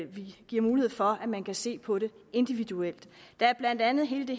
vil give mulighed for at man kan se på det individuelt der er blandt andet hele